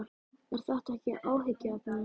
Er þetta ekki áhyggjuefni?